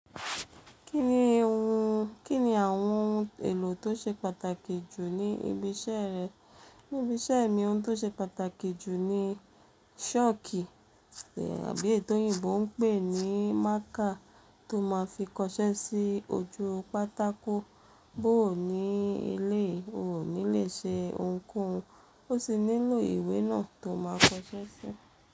Kí ni àwọn ohun èlò tó ṣe pàtàkì jù ní ibi iṣẹ́ rẹ? Ní ibi iṣẹ́ mi ohun tó ṣe pàtàkì jù ni ṣọ́ọ̀kì tàbí èyii tòyíbo ń pè ní marker tó máa fi kọṣẹ́ sí ojú pátákó. Bó ò ní eleyii o ní lè ṣe ohunkóhun. Ó sì nílò ìwé náà tó máa kọṣẹ́ sí.